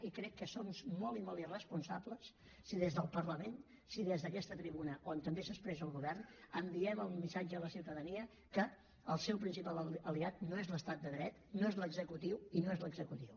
i crec que som molt i molt irresponsables si des del parlament si des d’aquesta tribuna on també s’expressa el govern enviem el missatge a la ciutadania que el seu principal aliat no és l’estat de dret no és l’executiu i no és l’executiu